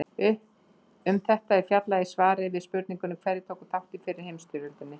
Um þetta er fjallað í svari við spurningunni Hverjir tóku þátt í fyrri heimsstyrjöldinni?